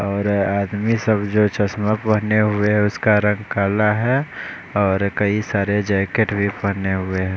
और आदमी सब जो चश्मा पहने हुए उसका रंग काला है और कई सारे जैकेट भी पहने हुए हैं।